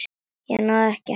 Ég náði ekki að hemla.